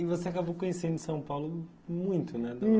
E você acabou conhecendo São Paulo muito, né?